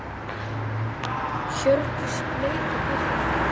Hjördís leit á Birki.